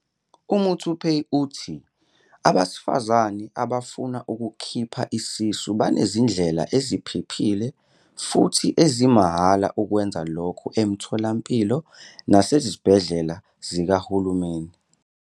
UMuthupei uthi abesifazane abafuna ukukhipha isisu banezindlela eziphephile futhi ezimahhala ukwenza lokho emitholampilo nasezibhedlela zikahulumeni.